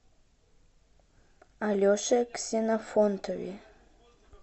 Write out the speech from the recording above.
алеше ксенофонтове